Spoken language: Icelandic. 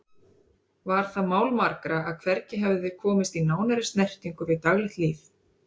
Var það mál margra að hvergi hefðu þeir komist í nánari snertingu við daglegt líf